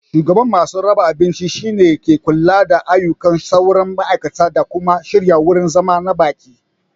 Shugaban masu raba abinci shine ke kula da ayyukan sauran ma'aikatan da kuma shirya wurin zama na baƙi.